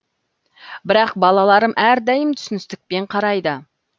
бірақ балаларым әрдайым түсіністікпен қарайды